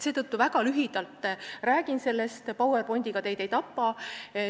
Seetõttu ma räägin sellest väga lühidalt ja PowerPointiga teid ei tapa.